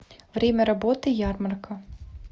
время работы ярмарка